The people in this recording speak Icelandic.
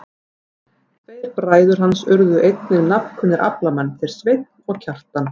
Tveir bræður hans urðu einnig nafnkunnir aflamenn, þeir Sveinn og Kjartan.